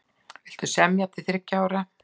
Vilja semja til þriggja ára